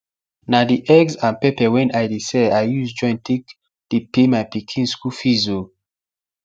na the eggs and pepper wen i dey sell i use join take dey pay my pikin school fees o